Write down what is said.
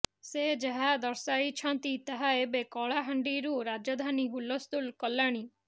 ସେ ଯାହା ଦର୍ଶାଇଛନ୍ତି ତାହା ଏବେ କଳାହାଣ୍ଡିରୁ ରାଜଧାନୀ ହୁଲସ୍ତୁଲ କଲାଣି